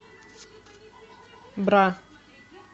бра